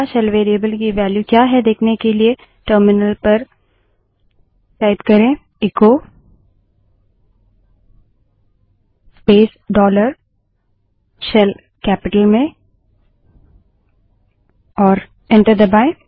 shell variable की value क्या है देखने के लिए echo space dollar shell terminal पर echo space dollar shell capital में टाइप करें और एंटर दबायें